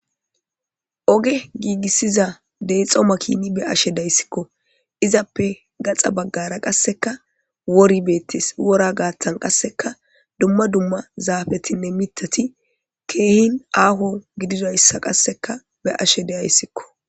oge giigissiza deexo makini be'ashe dayssikko izappe gaxa baggara qasseka wori beettes wora gaattan qasseka dumma dumma zaafetinne mitati keehin aaho gididayssa qasseka be'ashe deyayssikko